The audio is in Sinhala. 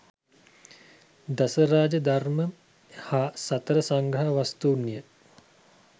දසරාජ ධර්මය හා සතර සංග්‍රහ වස්තූන් ය.